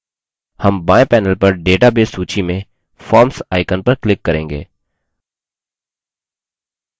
हम बाएँ panel पर database सूची में forms icon पर click करेंगे